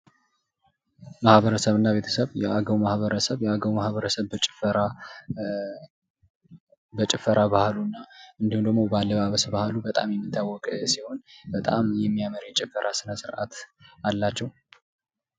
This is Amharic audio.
ማህበረሰብ እና ቤተሰብ ፡- የአገው ማህበረሰብ በጭፈራ ባህሉና እንዲሁም ደግሞ በአለባበስ ባህሉ በጣም የሚታወቅ ሲሆን በጣም የሚያምር የጭፈራ ስነ ስርዓት አላቸው።